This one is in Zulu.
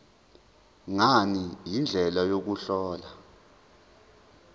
ngani indlela yokuhlola